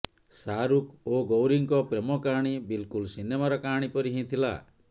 ଶାହାରୁଖ ଓ ଗୌରୀଙ୍କ ପ୍ରେମକାହାଣୀ ବିଲକୁଲ ସିନେମାର କାହାଣୀ ପରି ହିଁ ଥିଲା